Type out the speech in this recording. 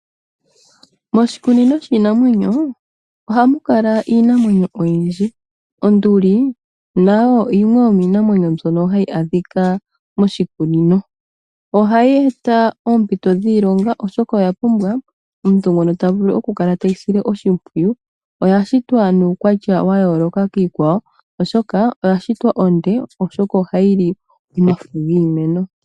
Moshikunino shiinamwenyo oha mu kala iinamwenyo oyindji. Onduli nayo yimwe yoomiinamwenyo mbyoka hayi adhika moshikunino. Ohayi eta oompito dhiilonga oshoka oya pumbwa omuntu ngoka ta vulu oku kala teyi sile oshipwiyu oya shitwa nuukwatya wa yooloka kiikwawo oshoka oya shitwa onde oshoka oha yili omafo giimeno.